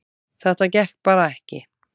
Þetta gekk bara ekki